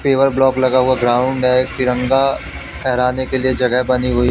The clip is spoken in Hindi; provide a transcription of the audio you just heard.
सिबर ब्लॉक लगा हुआ ग्राउंड है तिरंगा फहराने के लिए जगह बनी हुई--